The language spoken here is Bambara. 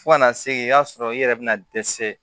Fo ka na se i ka sɔrɔ i yɛrɛ bɛna dɛsɛ